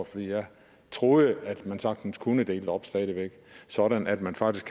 for jeg troede at man sagtens kunne dele det op stadig væk sådan at man faktisk